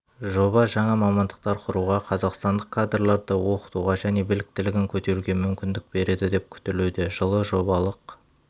жоба жаңа мамандықтар құруға қазақстандық кадрларды оқытуға және біліктілігін көтеруге мүмкіндік береді деп күтілуде жылы жобалық